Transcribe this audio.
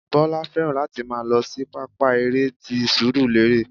Bọlá fẹ́ràn láti máa lọ sí pápá eré ti surulere